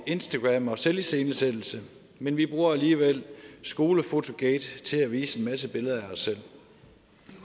instagram og selviscenesættelse men vi bruger alligevel skolefotogate til at vise en masse billeder af os selv